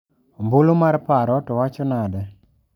Ombulu mar paro to wacho nade.